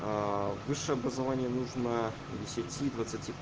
высшее образование нужно десяти двадцати